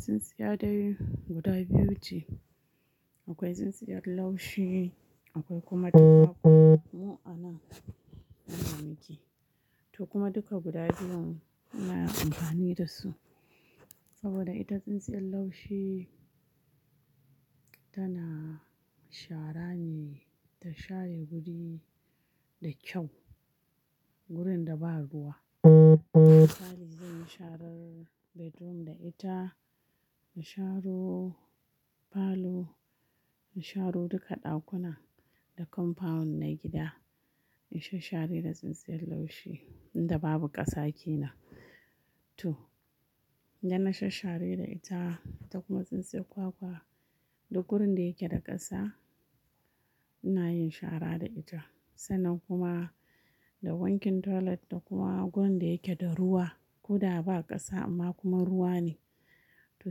Tsintsiya dai guda biyu ce. Akwai tsintsiyar laushi, akwai kuma ta kwakwa. Mu ana amfani da shi. To kuma duka guda biyun muna amfani da su. Saboda ita tsintsiyar laushi tana shara ne, ta share guri da kyau. Gurin da ba ruwa. Misali zan yi sharar bedroom da ita, na sharo falo, na sharo duka dakunan da compound na gida. Na sha share da tsintsiyar laushi inda babu ƙasa ke nan. To, idan na sha share da ita, ta kuma tsintsiyar kwakwa, da gurin da yake da ƙasa, ina yin shara da ita. Sannan kuma da wankin toilet da kuma gurin da yake da ruwa. Kuda ba ƙasa amma kuma ruwa ne. To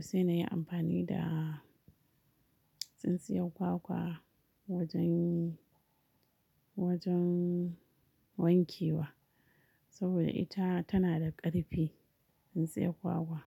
sai na yi amfani da tsintsiyar kwakwa wajen, wajen wanke wa. Saboda ita tana da ƙarfi, tsintsiyar kwakwa.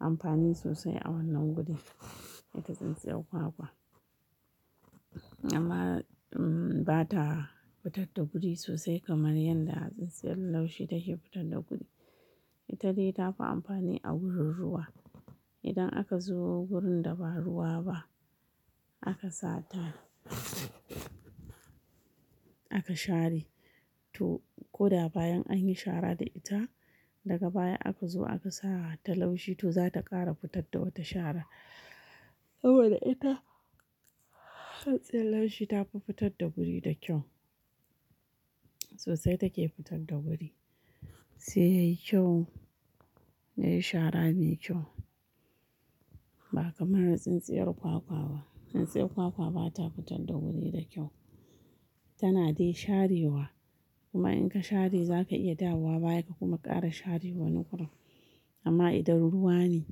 Amfani sosai a wannan gurin, ita tsintsiyar kwakwa. Amma ba ta fitar da guri sosai kamar yadda tsintsiyar laushi take fitar da guri. Ita dai tafi amfani a wurin ruwa. Idan aka zo wurin da ba ruwa ba, aka sa ta, aka share. To, ko da bayan anyi shara da ita, daga baya aka zo aka sa ta laushi to za ta ƙara fitar da wata shara. Saboda ita, tsintsiyar laushi ta fi fitar da guri da kyau. Sosai take fitar da guri, sai yayi kyau. Yayi shara mai kyau. Ba kamar tsintsiyar kwakwa ba. Tsintsiyar kwakwa ba ta fitar da guri da kyau. Tana dai sharewa. Kuma in ka share za ka iya dawowa baya ka kuma ƙara share wani gurin. Amma idan ruwa ne,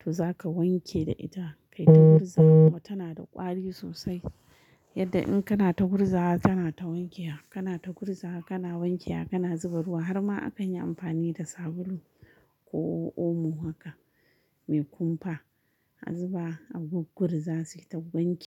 to za ka wanke da ita. Kai ta gurza wa tana da ƙwari sosai. Yadda in kana ta gurza wa tana ta wankewa, kana ta gurza wa kana wankewa kana zuba ruwa har ma akan yi amfani da sabulu ko omo haka, mai kumfa. A zuba a guggur za sai ta wanke.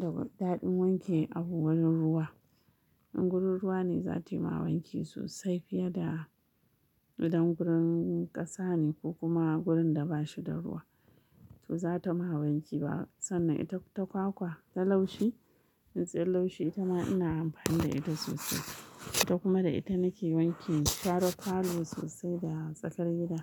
Da gudaɗin wanke a wurin ruwa. In gurin ruwa ne za tayi ma wanke sosai fiye da idan gurin ƙasa ne ko kuma gurin da bashi da ruwa. To ba za ta ma wanke ba. Sannan ita ta kwakwa, ta laushi, tsintsiyar laushi ita ma ina amfani da ita sosai. To kuma da ita nake wanke sharan falo sosai da tsakar gida.